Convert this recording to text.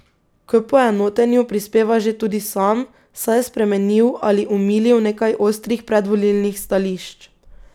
K poenotenju prispeva že tudi sam, saj je spremenil ali omilil nekaj ostrih predvolilnih stališč.